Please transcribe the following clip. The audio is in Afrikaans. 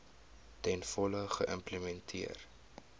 ten volle geïmplementeer